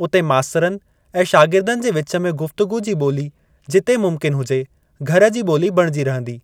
उते मास्तरनि ऐं शागिर्दनि जे विच में गुफ्तगू जी ॿोली जिते मुमकिन हुजे, घर जी ॿोली बणिजी रहंदी।